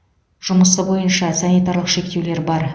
жұмысы бойынша санитарлық шектеулер бар